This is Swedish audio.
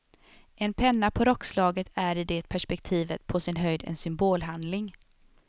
En penna på rockslaget är i det perspektivet på sin höjd en symbolhandling.